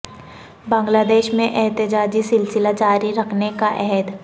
بنگلہ دیش میں احتجاجی سلسلہ جاری رکھنے کا عہد